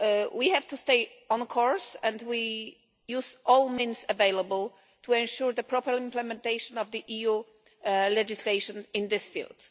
We have to stay on course and we must use all means available to ensure the proper implementation of the EU legislation in this field.